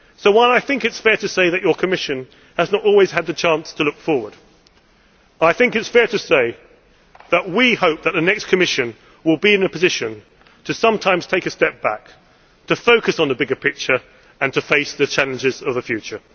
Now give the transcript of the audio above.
So while I think it is fair to say that your Commission has not always had the chance to look forward, I also think it is fair to say that we hope that the next Commission will be in a position to sometimes take a step back, focus on the bigger picture and face the challenges of the future.